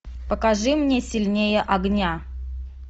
покажи мне сильнее огня